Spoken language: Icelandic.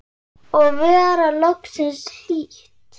Og vera loksins hlýtt!!